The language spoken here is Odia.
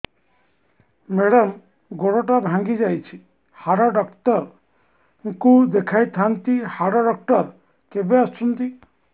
ମେଡ଼ାମ ଗୋଡ ଟା ଭାଙ୍ଗି ଯାଇଛି ହାଡ ଡକ୍ଟର ଙ୍କୁ ଦେଖାଇ ଥାଆନ୍ତି ହାଡ ଡକ୍ଟର କେବେ ଆସୁଛନ୍ତି